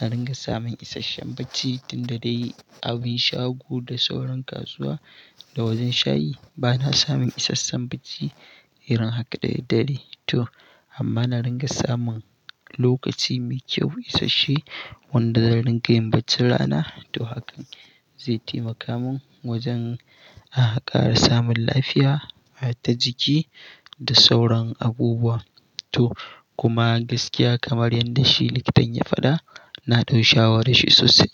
na ringa samun isasshen bacci tun da dai abin shago da sauran kasuwa da wajen shayi. Bana samun isasshen bacci irin haka da daddare to amma na ringa samun lokaci mai kyau isasshe wanda zan ringa yin bacci rana. To hakan zai taimaka min wajen a haka har samun lafiya, haata jiki da sauran abubuwa. To kuma gaskiya kamar yadda shi likitan ya faɗa, na ɗau shawarar shi sosai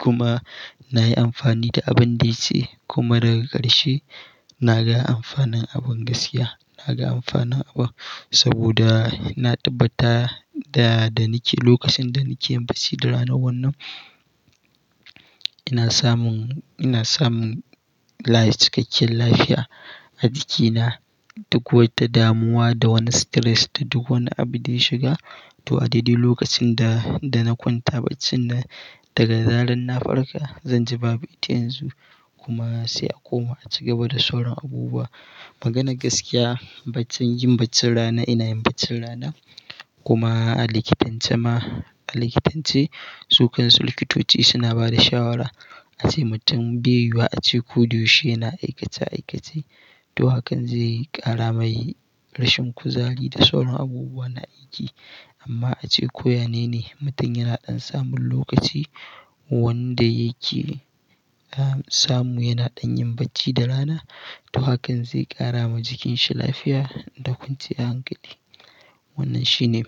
kuma na yi amfani da abin da ya ce kuma daga ƙarshe na ga amfanin abin gaskiya. Na ga amfanin abun saboda na tabbata da, da nake lokacin da nake yin bacci da rana wannan, ina samun, ina samun layin cikakken lafiya a jikina duk wata damuwa da wani stress da duk wani abu da ya shiga. To a daɗe lokacin da, da na kwanta bacci na daga zaran na farka, zan ji babu ita yanzu kuma sai a koma a ci gaba da sauran abubuwa. Magana gaskiya, baccin, yin bacci rana ina yin bacci rana kuma a likitancema, a likitance, su kansu likitoci suna ba da shawara ace mutum baiyuyuwa a ce ko duhu shi yana aikace aikace. To hakan zai ƙara mai rashin kuzari da sauran abubuwa na aiki. Amma ace ko yanene, mutum yana ɗan samun lokaci wanda yake, ah, samu yana ɗan yin bacci da rana. To hakan zai ƙara ma jikin shi lafiya da kwanciya hankali. Wannan shine,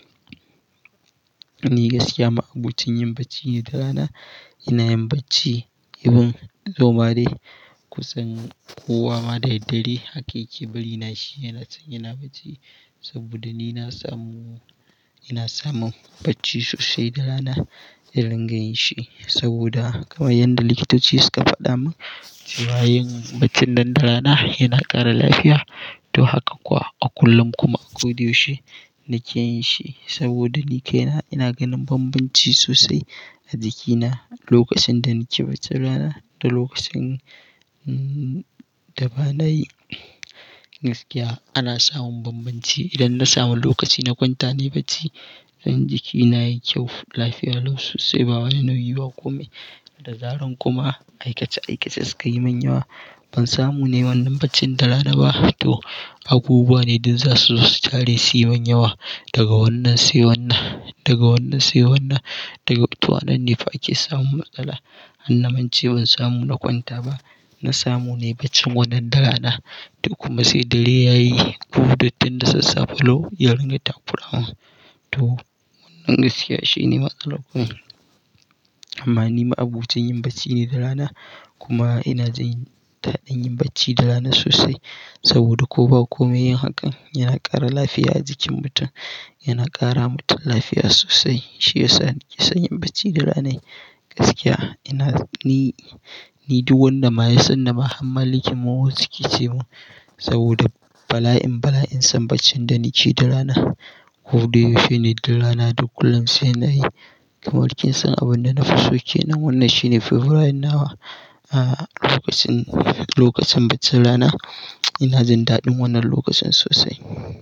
ni gaskiya ma abocin yin bacci ne da rana. Ina yin bacci even zoma dai kusan kowa ma da daddare. Haka yake bari na shi yana can yana bacci saboda ni na samu, ina samun bacci sosai da rana i ringa yin shi. Saboda kamar yadda likitoci suka faɗa min cewa yin bacci nan darana yana ƙara lafiya. To haka kuwa a kullum kuma a koda yaushe nake yin shi saboda ni kai na ina ganin banbanci sosai a jikina lokacin da nake bacci rana da lokacin, mm, da ba na yi. Gaskiya ana samun banbanci idan na samu lokaci na kwanta nayi bacci. Zan jiki na yi kyau, lafiya lau sosai ba wani nauyi ba kome. Da zaran kuma aikace aikace suka yi min yawa, ban samu nai wannan baccin da rana ba. To abubuwa ne duk za su tare si min yawa daga wannan sai wannan, daga wannan sai wannan. Daga to anan ne fa ake samun matsala. Hanna mance ban samu na kwanta ba. Na samu nai baccin wannan da rana. To kuma sai dare ya yi, duhu dattin da sassafe lau ya ringa takura mun. To wannan gaskiya shi ne matsalar kun. Amma ni ma abocin yin bacci ne da rana kuma ina jin daɗin yin bacci da rana sosai saboda ko ba kome yin hakan yana ƙara lafiya a jikin mutum, yana ƙara mutum lafiya sosai. Shi yasa nake son yin bacci da rana gaskiya. Ina, ni, ni duk wanda ma ya san ni ma han malikin maho suke ce mun saboda bala'in, bala'in son baccin da nake da rana. Ko duhu shi ne duk rana duk kullum sai na yi. Kamar kin san abun da na fi so ke nan wannan shi ne favourite nawa a lokacin, lokacin bacci rana. Ina jin daɗin wannan lokacin sosai.